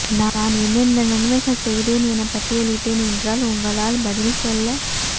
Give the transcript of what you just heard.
நான் என்னென்ன நன்மைகள் செய்தேன் என பட்டியலிட்டேன் ஏன்றால் உங்களால் பதில் சொல்ல